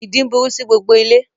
Ìdin burú sí gbogbo ilé